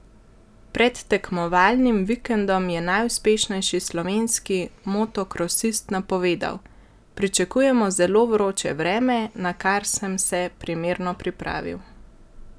Pred tekmovalnim vikendom je najuspešnejši slovenski motokrosist napovedal: "Pričakujemo zelo vroče vreme, na kar sem se primerno pripravil.